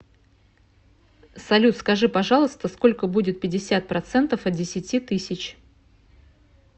салют скажи пожалуйста сколько будет пятьдесят процентов от десяти тысяч